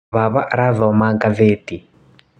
Baba arathoma gatheti.